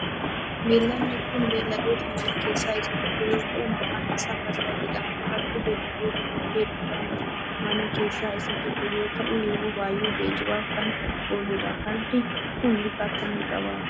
Beelladni kun beelladoota manaa keessaa isaa tokko yoo ta'u maqaan isaa farda jedhama. Fardi beelladota kottee duudaa manaa keessaa isa tokko yoo ta'u yeroo baayyee geejjibaaf kan ooludha. Fardi kun bifa akkamii qaba?